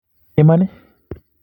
Iman?